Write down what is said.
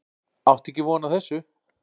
Átti ekki von á þessu